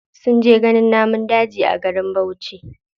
Sun je ganin namun daji a garin bauchi.